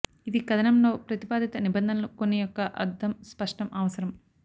ఇది కథనంలో ప్రతిపాదిత నిబంధనలు కొన్ని యొక్క అర్థం స్పష్టం అవసరం